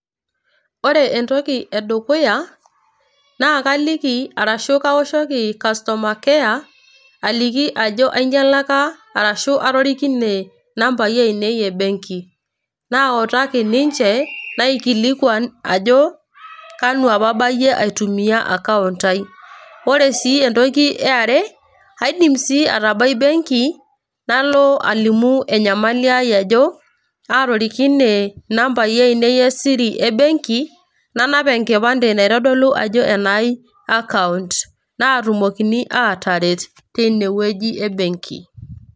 Ore entoki edukuya, na kaliki arashu kawoshoki customer care aliki ajo ainyalaka arashu atorikine inambai ainei ebenki. Nautaki ninche, naikilikwan ajo kanu apa abayie aitumia akaunt ai. Ore si entoki eare, kaidim si atabai benki, nalo alimu enyamali ai ajo, atorikine inambai ainei esiri ebenki, nanap enkipande naitodolu ajo enai akaunt. Naatumokini ataret teinewueji ebenki.